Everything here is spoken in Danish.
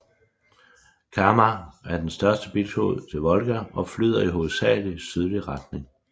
Kama er den største biflod til Volga og flyder i hovedsagelig sydlig retning